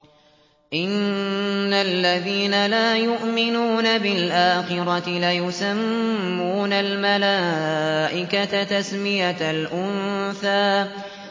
إِنَّ الَّذِينَ لَا يُؤْمِنُونَ بِالْآخِرَةِ لَيُسَمُّونَ الْمَلَائِكَةَ تَسْمِيَةَ الْأُنثَىٰ